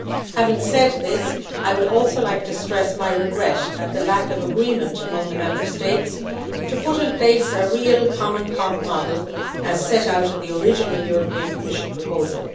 Having said this, I would also like to stress my regret at the lack of agreement among the Member States to put in place a real common pot model, as set out in the original European Commission proposal.